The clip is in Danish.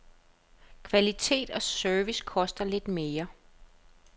Kvalitet og service koster lidt mere.